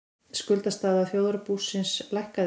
Skuldastaða þjóðarbúsins lækkaði